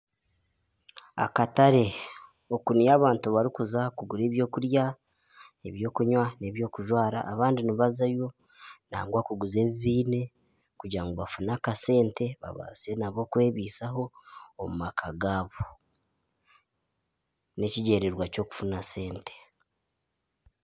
Akatare oku niyo abantu barikuza kugura ebyokurya ebyokunywa n'ebyokujwara abandi nibazayo nangwa kuguza ebi baine kugira ngu bafune akasente babaase nabo kwebaisaho omu maka gaabo. N'ekigyendererwa ky'okufuna sente.